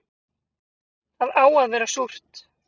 Það á að vera súrt